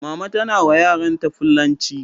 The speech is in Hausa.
Mama tana wa yaran ta fullanci